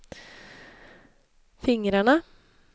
fingrarna